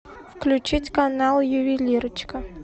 включить канал ювелирочка